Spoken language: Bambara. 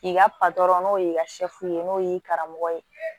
K'i ka patɔrɔn n'o y'i ka n'o y'i karamɔgɔ ye